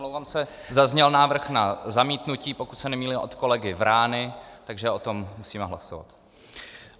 Omlouvám se, zazněl návrh na zamítnutí, pokud se nemýlím, od kolegy Vrány, takže o tom musíme hlasovat.